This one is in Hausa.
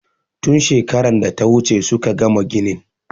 Tun shekaran da ta wuce suka gama ginin.